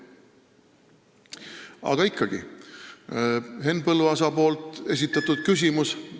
Aga ikkagi, Henn Põlluaasa esitatud küsimus ...